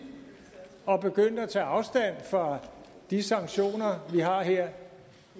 og begyndte at tage afstand fra de sanktioner vi har her